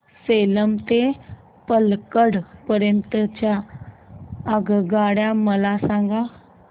सेलम ते पल्लकड पर्यंत च्या आगगाड्या मला सांगा